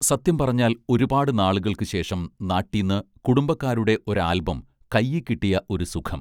സത്യം പറഞ്ഞാൽ ഒരുപാടു നാളുകൾക്ക് ശേഷം നാട്ടീന്ന് കുടുംബക്കാരുടെ ഒരാൽബം കയ്യീക്കിട്ടിയ ഒരു സുഖം